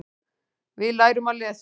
Við lærum að lesa.